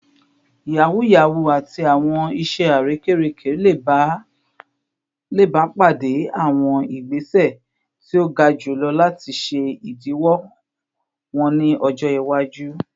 Yahoo yahoo ati awọn iṣẹ arekereke le ba pade awọn igbese ti o ga julọ lati ṣe idiwọ wọn ni ọjọ iwaju